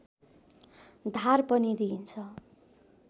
धार पनि दिइन्छ